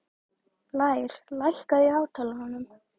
Lér, lækkaðu í hátalaranum.